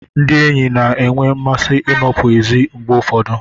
Ndị enyi na-enwe mmasị ịnọpụ ezi mgbe ụfọdụ.